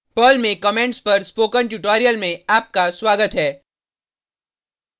Perl में comments पर spoken tutorial में आपका स्वागत है